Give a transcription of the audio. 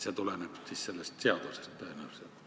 See tuleneb tõenäoliselt sellest seadusest.